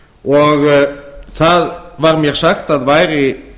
og það var mér sagt að væri